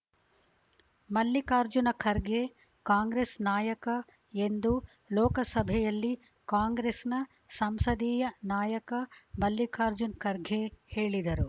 ಮಲ್ಲಿಕಾರ್ಜುನ ಖರ್ಗೆ ಕಾಂಗ್ರೆಸ್‌ ನಾಯಕ ಎಂದು ಲೋಕಸಭೆಯಲ್ಲಿ ಕಾಂಗ್ರೆಸ್‌ನ ಸಂಸದೀಯ ನಾಯಕ ಮಲ್ಲಿಕಾರ್ಜುನ ಖರ್ಗೆ ಹೇಳಿದರು